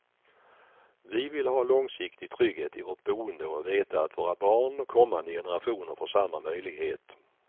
Vi vill ha långsiktig trygghet i vårt boende och veta att våra barn och kommande generationer får samma möjlighet.